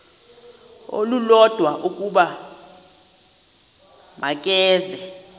olulodwa ukuba makeze